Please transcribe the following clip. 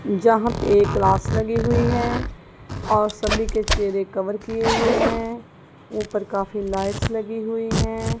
जहां पे एक ग्लास लगी हुई है और सभी के चेहरे कवर किए हुए हैं ऊपर काफी लाइट्स लगी हुई है।